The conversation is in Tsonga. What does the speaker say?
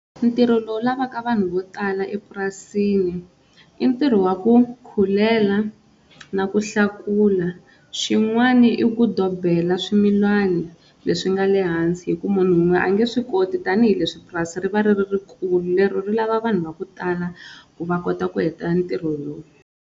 Ntirho lowu lavaka vanhu vo tala epurasini i ntirho wa ku khulela na ku hlakula, xin'wana i ku dobela swimilani leswi nga lehansi hikuva munhu wun'we a nge swi koti tanihileswi purasi ri va ri ri ri kulu ri lava vanhu va ku tala ku va kota ku heta ntirho lowu.